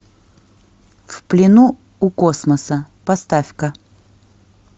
в плену у космоса поставь ка